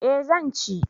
Eh zan ci